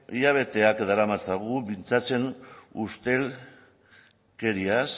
hilabeteak daramatzagu mintzatzen ustelkeriaz